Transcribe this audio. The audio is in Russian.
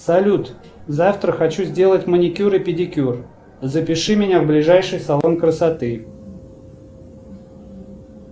салют завтра хочу сделать маникюр и педикюр запиши меня в ближайший салон красоты